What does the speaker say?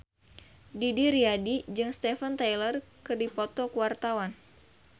Didi Riyadi jeung Steven Tyler keur dipoto ku wartawan